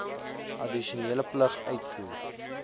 addisionele plig uitvoer